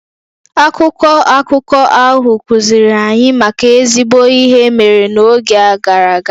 Akwụkwọ akụkọ ahụ kuziri anyị maka ezigbo ihe mere n'oge gara aga